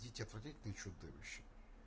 дети отвратительные чудовища